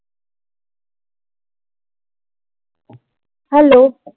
hello